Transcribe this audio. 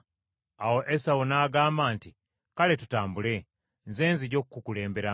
Awo Esawu n’agamba nti, “Kale tutambule, nze nzija okukukulemberamu.”